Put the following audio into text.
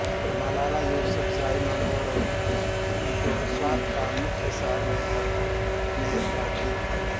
मलाला युसुफ़ज़ई मिंगोरा जो स्वात का मुख्य शहर है में रहती है